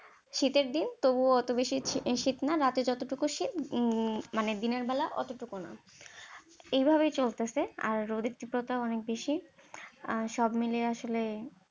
শীতের দিন তবুও এতো বেশি শীত না, রাতে যতটুকু শীত উম মানে দিনের বেলা এতটুকুও না, এইভাবেই চলতেছে আর রোদের তীব্রতা অনেক বেশি আর সবমিলিয়ে আসলে।